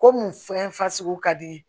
Komi fɛn fasugu ka di